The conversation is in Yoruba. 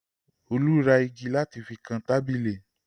Olu ra igi láti fi kan tábìlì.